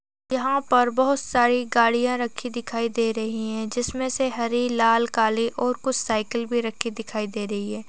यहाँ पर बहुत सारी गाड़ियां रखी दिखाई दे रही हैं जिसमें से हरी लाल काली और कुछ साइकिल भी रखी दिखाई दे रही है।